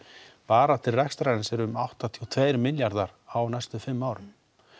bara til rekstrarins eru áttatíu og tveir milljarðar á næstu fimm árum